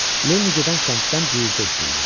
Lenni gedən səmtdən ciləti eşidildi.